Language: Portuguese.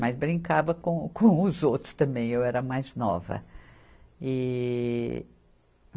Mas brincava com, com os outros também, eu era mais nova. e